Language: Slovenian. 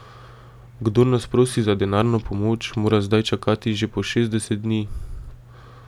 Kdor nas prosi za denarno pomoč, mora zdaj čakati že po šestdeset dni.